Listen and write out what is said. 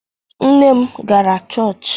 Nne m gara chọọchị.